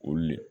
Olu le